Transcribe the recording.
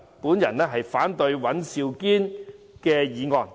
我反對尹兆堅議員的議案。